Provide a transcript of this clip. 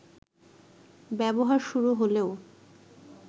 ব্যবহার শুরু হলেও